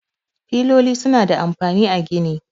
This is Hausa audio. Filoli suna da amfani a gini.